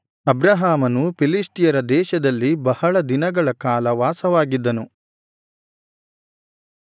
ಅಬ್ರಹಾಮನು ಫಿಲಿಷ್ಟಿಯರ ದೇಶದಲ್ಲಿ ಬಹಳ ದಿನಗಳ ಕಾಲ ವಾಸವಾಗಿದ್ದನು